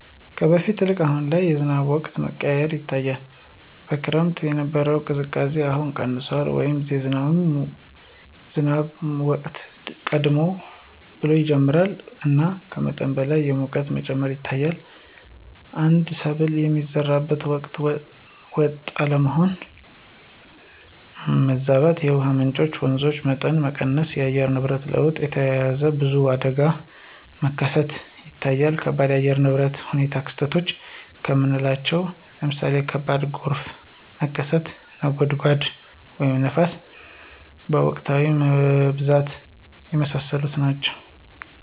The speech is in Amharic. ከበፊቱ ይልቅ አሁን በጣም የዝናብ ወቅቶች መቀያየር ይታያል። በክረምት የነበረው ቅዝቃዜ አሁን ቀንሷል” ወይም “የዝናብ ወቅት ቀደም ብሎ ይጀምራል እና ከመጠን በላይ የሙቀት መጨመር ይታያል። አንዳንድ ሰብል የሚዘሩበት ወቅት ወጥ አለመሆን (ማዛባት)።የውሃ ምንጮች (የወንዞች) መጠን መቀነስ። ከአየር ንብረት ለውጥ ጋር ተያይዞ ብዙ አደጋዎች መከሰት ይታያል ከባድ የአየር ሁኔታ ክስተቶች ከምናለቸው ለምሳሌ ከባድ ጎርፍ መከሰት፣ (ነጎድጓድ) ወይም ንፋስ በወቅታዊነት መብዛት። የመሳሰሉት ናቸው።